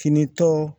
Fini tɔ